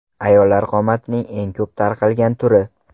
Ayollar qomatining eng ko‘p tarqalgan turi.